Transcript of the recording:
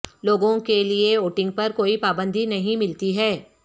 لوگوں کے لئے ووٹنگ پر کوئی پابندی نہیں ملتی ہے